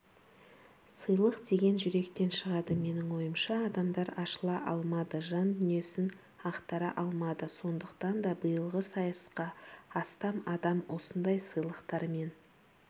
сыйлық деген жүректен шығады менің ойымша адамдар ашыла алмады жан дүниесін ақтара алмады сондықтан да биылғы сайысқа астам адам осындай сыйлықтармен